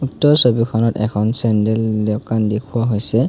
উক্ত ছবিখনত এখন চেণ্ডেল দোকান দেখুওৱা হৈছে।